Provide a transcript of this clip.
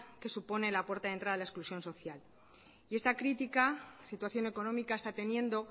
que supone la puerta de entrada a la exclusión social y esta critica situación económica está teniendo